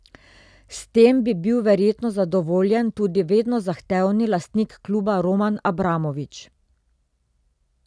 S tem bi bil verjetno zadovoljen tudi vedno zahtevni lastnik kluba Roman Abramovič.